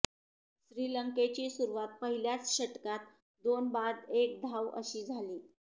श्रीलंकेची सुरुवात पहिल्याच षटकात दोन बाद एक धाव अशी झाली